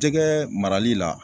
Jɛgɛ marali la